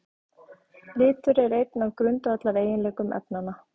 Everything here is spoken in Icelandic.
Litur er einn af grundvallareiginleikum efnanna.